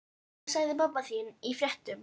Hvað sagði mamma þín í fréttum?